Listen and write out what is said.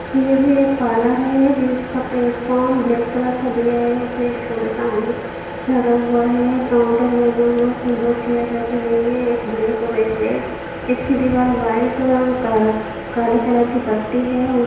ये भी एक पार्लर है जिसका प्लेटफॉर्म ब्लैक कलर का दिया है उसमें एक छोटा सा आईना लगा हुआ है काउंटर बना हुआ है उसमें दो चेयर रखी गई है एक ब्लैक और एक रेड इसकी दिवाल वाइट और क काले कलर की पट्टी है।